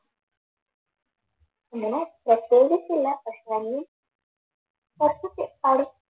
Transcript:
അങ്ങനെ test ചെയ്തിട്ടില്ല പക്ഷെ പാടും